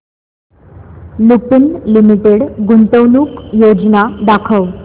Lupin limited गुंतवणूक योजना दाखव